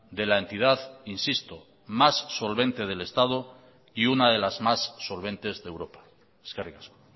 de la entidad insisto más solvente del estado y una de las más solventes de europa eskerrik asko